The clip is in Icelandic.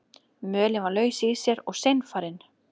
Mölin var laus í sér og seinfarin.